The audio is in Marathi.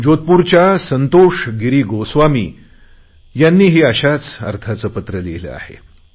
जोधपूरच्या संतोष गिरी गोस्वामी यांनीही अशाच अर्थाचे पत्र लिहिले आहे